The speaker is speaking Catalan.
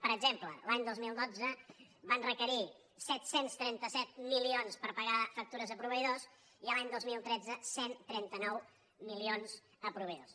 per exemple l’any dos mil dotze van requerir set cents i trenta set milions per pagar factures a proveïdors i l’any dos mil tretze cent i trenta nou milions a proveïdors